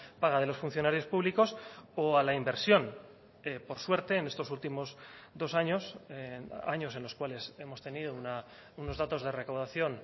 paga de los funcionarios públicos o a la inversión por suerte en estos últimos dos años años en los cuales hemos tenido unos datos de recaudación